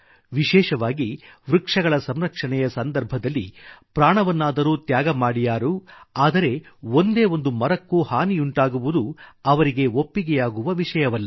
ವಿಶೇಷವಾಗಿ ವೃಕ್ಷಗಳ ಸಂರಕ್ಷಣೆಯ ಸಂದರ್ಭದಲ್ಲಿ ಪ್ರಾಣವನ್ನಾದರೂ ತ್ಯಾಗಮಾಡಿಯಾರು ಆದರೆ ಒಂದೇಒಂದು ಮರಕ್ಕೂ ಹಾನಿಯುಂಟಾಗುವುದು ಅವರಿಗೆ ಒಪ್ಪಿಗೆಯಾಗುವ ವಿಷಯವಲ್ಲ